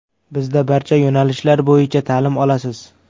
Bizda barcha yo‘nalishlar bo‘yicha ta’lim olasiz.